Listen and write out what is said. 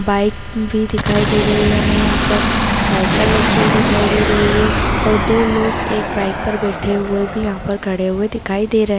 Bike भी दिखाई दे रही है हमें यहाँ पर साइकिल रखी हुई दिखाई दे रही है और दो लोग एक बाइक पर बैठे हुए और खड़े हुए भी दिखाई दे रहे है।